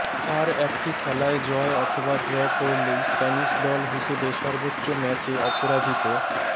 আর একটি খেলায় জয় অথবা ড্র করলেই স্প্যানিশ দল হিসেবে সর্বোচ্চ ম্যাচে অপরাজিত